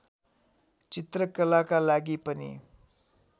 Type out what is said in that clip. चित्रकलाका लागि पनि